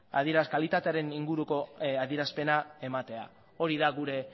kalitatearen inguruko adierazpena ematea hori da gure